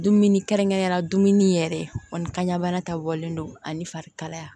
Dumuni kɛrɛnkɛrɛnya la dumuni yɛrɛ kɔni kaɲɛbana ta bɔlen don ani farikalaya